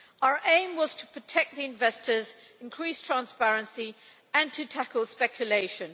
Our aim was to protect the investors, increase transparency and tackle speculation.